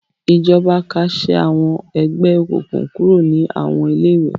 Ìjọba kásẹ̀ àwọn ẹgbẹ́ òkùnkùn kúrò ní àwọn ilé-ìwé.